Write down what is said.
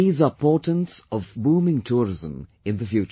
These are portents of booming tourism in the future